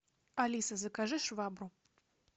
алиса закажи швабру